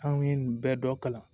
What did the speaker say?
An ye nin bɛɛ dɔ kalan